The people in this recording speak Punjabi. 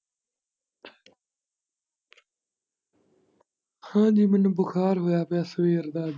ਹਾਂਜੀ ਮੈਨੂੰ ਬੁਖਾਰ ਹੋਇਆ ਪਿਆ ਸਵੇਰ ਦਾ।